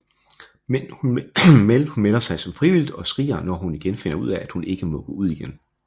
Men hun melder sig frivilligt og skriger når hun finder ud af at hun ikke må gå igen